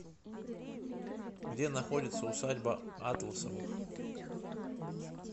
где находится усадьба атласовых